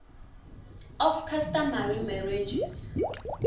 of customary marriages